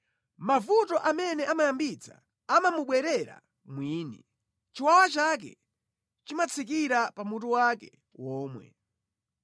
Mavuto amene amayambitsa amamubwerera mwini; chiwawa chake chimatsikira pa mutu wake womwe.